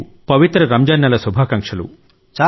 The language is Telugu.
మీకు పవిత్ర రంజాన్ నెల శుభాకాంక్షలు